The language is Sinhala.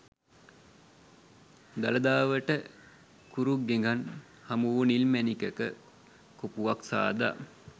දළදාවට කුරු ගෙඟන් හමුවූ නිල් මැණිකක කොපුවක් සාදා